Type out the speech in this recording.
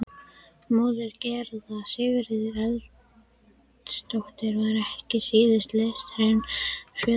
Móðir Gerðar, Sigríður Erlendsdóttir, var ekki síður listhneigð en föðurfólkið.